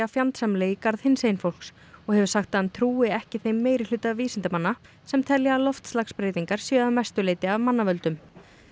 fjandsamleg í garð hinsegin fólks og hefur sagt að hann trúi ekki þeim meirihluta vísindamanna sem telja að loftslagsbreytingar séu að mestu leyti af manna völdum